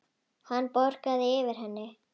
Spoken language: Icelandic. Hann bograði yfir henni.